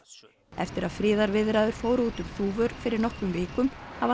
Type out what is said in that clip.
eftir að friðarviðræður fóru út um þúfur fyrir nokkrum vikum hafa